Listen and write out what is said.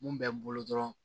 Mun bɛ n bolo dɔrɔn